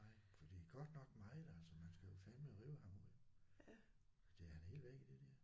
Nej for det er godt nok meget altså man skal jo fandeme rive ham ud. Fordi han er helt væk i det der